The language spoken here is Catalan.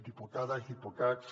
diputades diputats